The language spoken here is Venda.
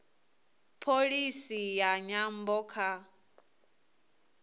pholisi ya nyambo kha